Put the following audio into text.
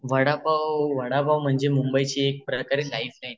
वडापाव वडापाव म्हणजे मुंबईची एक प्रकारे लाईफलाईन.